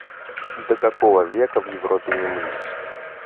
до какого века в европе не мылись